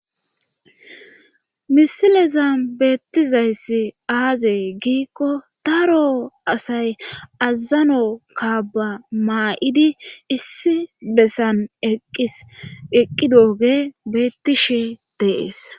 misileza beettizayssi aazee giikko daro asay azzano kaaba maa7idi issi bessan eqqis eqqidooge beettishe deees